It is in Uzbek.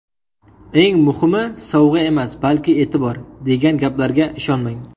Eng muhimi sovg‘a emas, balki e’tibor degan gaplarga ishonmang.